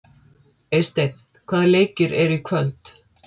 Eysteinn, hvaða leikir eru í kvöld?